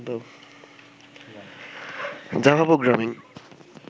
Java programming